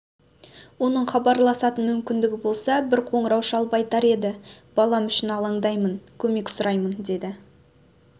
оның хабарласатын мүмкіндігі болса бір қоңырау шалып айтар еді балам үшін алаңдаймын көмек сұраймын деді